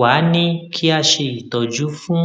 wá a ní kí a ṣe ìtọjú fún